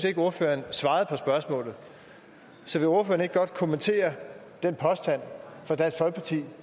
ikke ordføreren svarede på spørgsmålet så vil ordføreren ikke godt kommentere den påstand fra dansk folkeparti